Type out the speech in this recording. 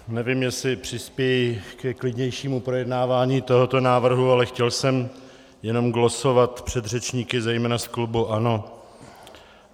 Nevím, jestli přispěji ke klidnějšímu projednávání tohoto návrhu, ale chtěl jsem jenom glosovat předřečníky, zejména z klubu ANO.